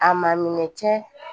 A ma minɛ cɛ